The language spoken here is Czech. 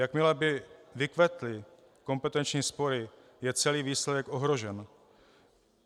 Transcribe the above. Jakmile by vykvetly kompetenční spory, je celý výsledek ohrožen.